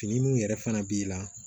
Fini min yɛrɛ fana b'i la